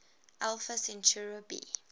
alpha centauri b